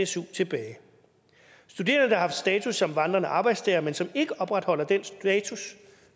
su tilbage studerende der har haft status som vandrende arbejdstagere men som ikke opretholder den status